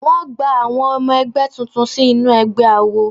Wọ́n gba àwọn ọmọ ẹgbẹ́ tuntun sínú ẹgbẹ́ awo.